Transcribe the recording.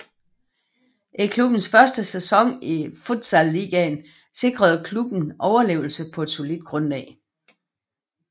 I klubbens første sæson i Futsal Ligaen sikrede klubben overlevelse på solidt grundlag